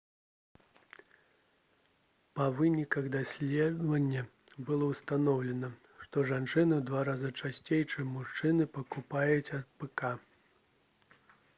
па выніках даследавання было ўстаноўлена што жанчыны ў два разы часцей чым мужчыны пакутуюць ад рс